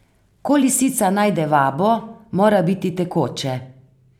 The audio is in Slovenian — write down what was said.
Ko lisica najde vabo, mora biti tekoče.